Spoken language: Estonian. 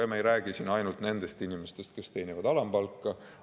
Ja me ei räägi siin ainult nendest inimestest, kes teenivad alampalka.